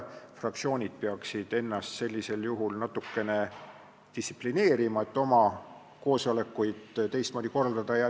Fraktsioonid peaksid ennast sellisel juhul natuke distsiplineerima, et oma koosolekuid teistmoodi korraldada.